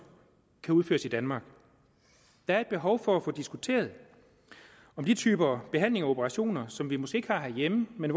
kan udføres i danmark der er behov for at få diskuteret de typer behandlinger og operationer som vi måske ikke har herhjemme men